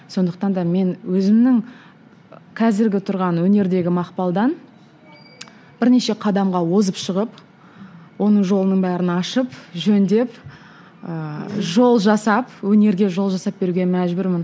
сондықтан да мен өзімнің қазіргі тұрған өнердегі мақпалдан бірнеше қадамға озып шығып оның жолының бәрін ашып жөндеп ііі жол жасап өнерге жол жасап беруге мәжбүрмін